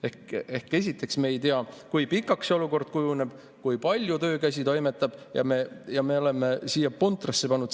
Ehk siis esiteks me ei tea, kui pikaks see olukord kujuneb, kui palju käsi toimetab, ja me oleme siia puntrasse pannud.